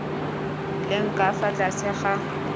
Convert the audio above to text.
leng ka fa tlase ga